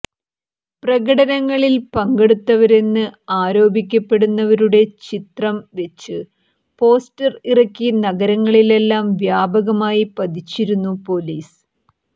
പ്രകടനങ്ങളിൽ പങ്കെടുത്തവരെന്ന് ആരോപിക്കപ്പെടുന്നവരുടെ ചിത്രം വെച്ച് പോസ്റ്റർ ഇറക്കി നഗരങ്ങളിലെല്ലാം വ്യാപകമായി പതിച്ചിരുന്നു പൊലീസ്